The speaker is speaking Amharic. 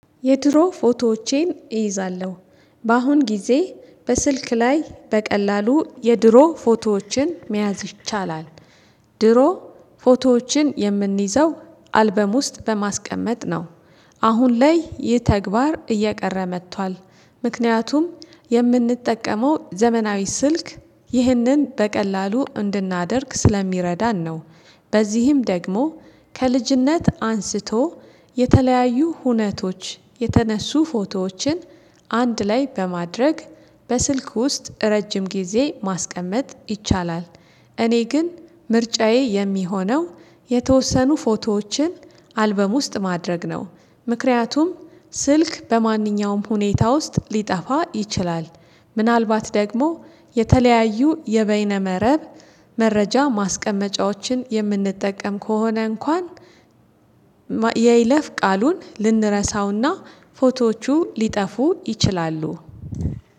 የድሮ ፎቶዎቼን እይዛለሁ በአሁን ጊዜ በስልክ ላይ በቀላሉ የድሮ ፎቶዎችን መያዝ ይቻላል። ድሮ ፎቶዎችን የምንይዘው አልበም ውስጥ በማስቀመጥ ነው። አሁን ላይ ይህ ተግባር እየቀረ መጥቷል። ምክንያቱም የምንጠቀመው ዘመናዊ ስልክ ይህንን በቀላሉ እንድናደርግ ስለሚረዳን ነው። በዚህም ደግሞ ከልጅነት አንስቶ የተለያዩ ሁነቶች የተነሱ ፎቶዎችን አንድ ላይ በማድረግ በስልክ ውስጥ ረጅም ጊዜ ማስቀመጥ ይቻላል። እኔ ግን ምርጫዬ የሚሆነው የተወሰኑ ፎቶዎችን አልበም ውስጥ ማድረግ ነው። ምክንያቱም ስልክ በማንኛውም ሁኔታ ውስጥ ሊጠፋ ይችላል። ምናልባት ደግሞ የተለያዩ የበይነ መረብ መረጃ ማስቀመጫዎችን የምንጠቀም ከሆነ እንኳን የይለፍ ቃሉን ልንረሳውና ፎቶዎቹ ሊጠፉ ይችላሉ።